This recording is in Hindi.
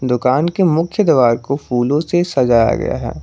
दुकान के मुख्य द्वार को फूलों से सजाया गया है।